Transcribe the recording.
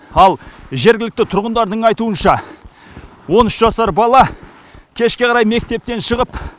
ал жергілікті тұрғындардың айтуынша он үш жасар бала кешке қарай мектептен шығып